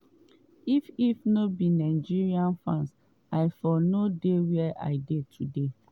if if no be nigeria fans i for no dey wia i dey today.